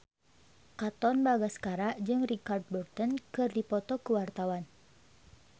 Katon Bagaskara jeung Richard Burton keur dipoto ku wartawan